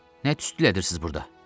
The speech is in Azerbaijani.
Nə tüstü elədirsiz burda?